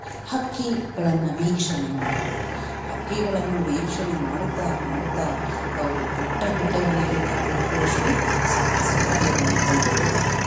ಹಕ್ಕಿಗಳನ್ನ ವೀಕ್ಷಣೆ ಮಾಡುವುದು. ಹಕ್ಕಿಗಳನ್ನು ವೀಕ್ಷಣೆ ಮಾಡುತ್ತಾ ಮಾಡುತ್ತಾ ಅವರು ಬೆಟ್ಟ ಗುಡ್ಡಗಳಿಗೆಲ್ಲ ಹೋಗುವಷ್ಟು ಸಾಹಸ ಕಾರ್ಯವನ್ನ ಕೈಗೊಳ್ತಾರೆ.